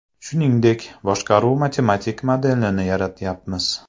Shuningdek, boshqaruv matematik modelini yaratyapmiz.